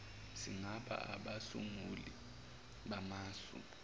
singaba abasunguli bamasu